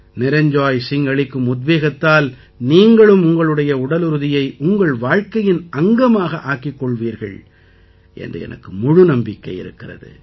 நிரஞ்ஜாய் சிங் அளிக்கும் உத்வேகத்தால் நீங்களும் உங்களுடைய உடலுறுதியை உங்கள் வாழ்க்கையின் அங்கமாக ஆக்கிக் கொள்வீர்கள் என்று எனக்கு முழு நம்பிக்கை இருக்கிறது